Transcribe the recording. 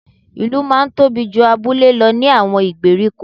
Ìlú máa n tóbi ju abúlé lo ní àwon ìgbèríko